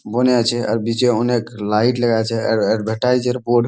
বনে আছে আর বীচে অনেক লাইট লাগা আছে। আর এডভার্টাইস এর বোর্ড --